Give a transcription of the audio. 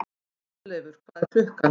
Geirleifur, hvað er klukkan?